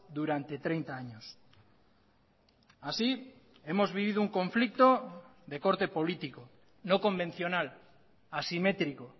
durante treinta años así hemos vivido un conflicto de corte político no convencional asimétrico